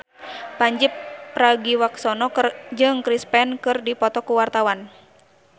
Pandji Pragiwaksono jeung Chris Pane keur dipoto ku wartawan